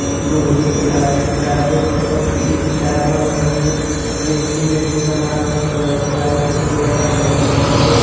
लोहे के ला रॉडे पर सब चीज टाँगल हवे। रेके में भी समान रखल यंहावे लाइट ओइट वाला बलफ हवे।